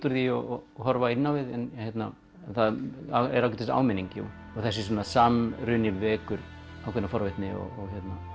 úr því og horfa inn á við það er áminning þessi samruni vekur ákveðna forvitni og